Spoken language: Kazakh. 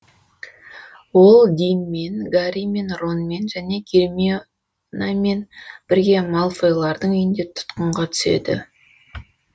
ол динмен гарримен ронмен және гермионамен бірге малфойлардың үйіне тұтқынға түседі